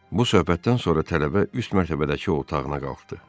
Bu söhbətdən sonra tələbə üst mərtəbədəki otağına qalxdı.